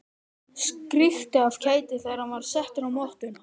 Skríkti af kæti þegar hann var settur á mottuna.